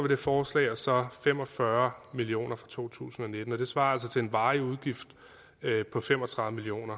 det forslag og så fem og fyrre million kroner i to tusind og nitten det svarer altså til en varig udgift på fem og tredive million